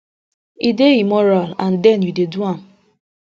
e dey immoral and then you dey do am